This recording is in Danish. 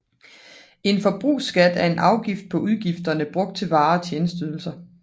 En forbrugsskat er en afgift på udgifterne brugt til varer og tjenesteydelser